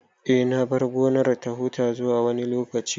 Eh, na bar gonar ta huta zuwa wani lokaci